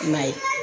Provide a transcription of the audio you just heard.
I m'a ye